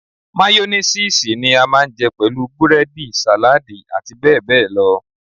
Máyónísiìsì ni a máa ń jẹ pẹ̀lú búrẹ́dì, sàládì àti bẹ́ẹ̀ bẹ́ẹ̀ lọ.